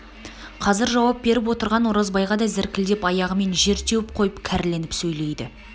қазір жауап беріп отырған оразбайға да зіркілдеп аяғымен жер теуіп қойып кәріленіп сөйлейді